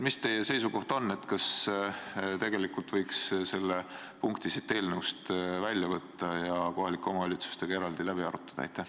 Mis teie seisukoht on, kas võiks selle punkti eelnõust välja võtta ja kohalike omavalitsustega eraldi läbi arutada?